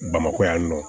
Bamakɔ yan nɔ